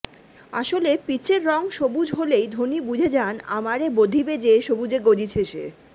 আসলে পিচের রঙ সবুজ হলেই ধোনি বুঝে যান আমারে বোধিবে যে সবুজে গজিছে সে